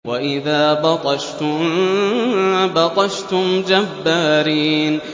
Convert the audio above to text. وَإِذَا بَطَشْتُم بَطَشْتُمْ جَبَّارِينَ